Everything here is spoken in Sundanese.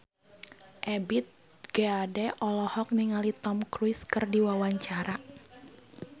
Ebith G. Ade olohok ningali Tom Cruise keur diwawancara